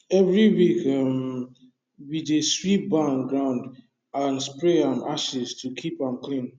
every week um we dey sweep barn ground and spray am ashes to keep am clean